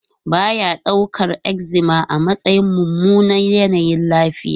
Ba ya daukar eczema a matsayin mummunan yanayin lafiya.